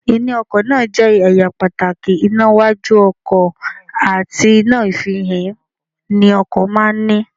Iná ọkọ̀ náà jẹ́ ẹ̀yà pàtàkì, iná iwájú ọkọ̀ àti iná àfihàn ni ọkọ̀ máa ń ní